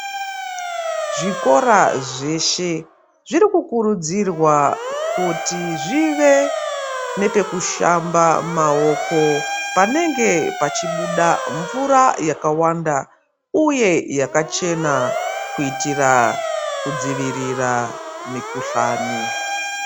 Zvikora zveshe zviri kukurudzirwa kuti zvive nepekushamba maoko panenge pachibuda mvura yakawanda uye yakachena kuitira kudzivirira mikuhlani.